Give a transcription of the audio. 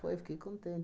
Foi, fiquei contente.